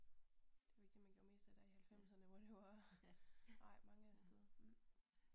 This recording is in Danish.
Det var ikke det man gjorde mest af der i halvfemserne hvor det jo var ret mange afsted